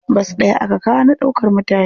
Bas ɗaya aka kawo na ɗaukar mutane.